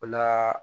O la